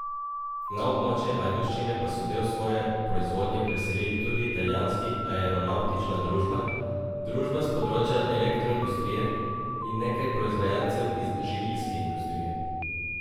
Na območje Ajdovščine pa so del svoje proizvodnje preselili tudi italijanski aeronavtična družba, družba s področja elektroindustrije in nekaj proizvajalcev iz živilske industrije.